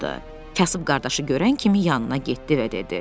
Kasıb qardaşı görən kimi yanına getdi və dedi.